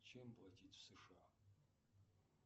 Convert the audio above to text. чем платить в сша